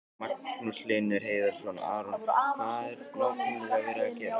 Magnús Hlynur Hreiðarsson: Aron, hvað er nákvæmlega verið að gera?